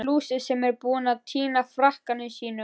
Einhver lúser sem er búinn að týna frakkanum sínum!